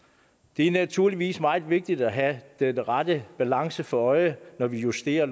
det er naturligvis meget vigtigt at have den rette balance for øje når vi justerer